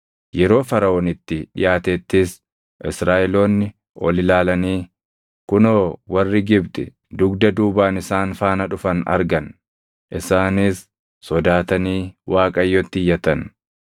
Yeroo Faraʼoon itti dhiʼaatettis Israaʼeloonni ol ilaalanii kunoo warri Gibxi dugda duubaan isaan faana dhufan argan. Isaanis sodaatanii Waaqayyotti iyyatan.